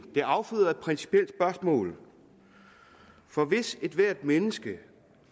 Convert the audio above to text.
det afføder et principielt spørgsmål for hvis ethvert menneske